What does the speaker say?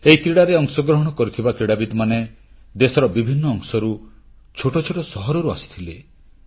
ଏହି କ୍ରୀଡ଼ାରେ ଅଂଶଗ୍ରହଣ କରୁଥିବା କ୍ରୀଡ଼ାବିତମାନେ ଦେଶର ବିଭିନ୍ନ ଅଂଶରୁ ଛୋଟ ଛୋଟ ସହରରୁ ଆସିଥିଲେ